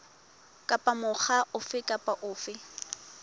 kapa mokga ofe kapa ofe